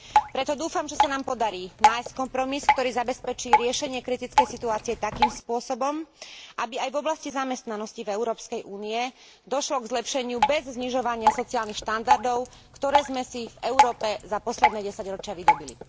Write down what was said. Preto dúfam, že sa nám podarí nájsť kompromis, ktorý zabezpečí riešenie kritickej situácie takým spôsobom, aby aj v oblasti zamestnanosti v Európskej únii došlo k zlepšeniu bez znižovania sociálnych štandardov, ktoré sme si v Európe za posledné desaťročia vydobyli.